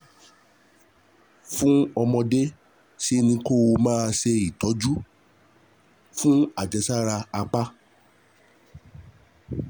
Fún ọmọdé, ṣe ni kó o máa ṣe ìtọ́jú fún àjẹsára apá